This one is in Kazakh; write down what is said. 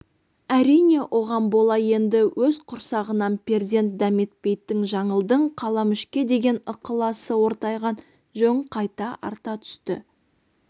әрине оған бола енді өз құрсағынан перзент дәметпейтін жаңылдың қаламүшке деген ықыласы ортайған жөн қайта арта түсті